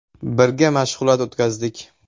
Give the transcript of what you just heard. Birga mashg‘ulot o‘tkazdik.